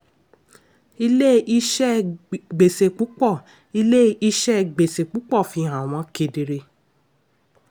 ilé-iṣẹ gbèsè púpọ̀ ilé-iṣẹ gbèsè púpọ̀ fihan wọn kedere.